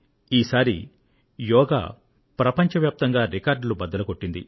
ఈసారి యోగా ప్రపంచవ్యాప్తంగా రికార్డులు బద్దలు చేసింది